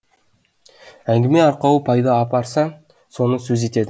әңгіме арқауы пайда апарса соны сөз етті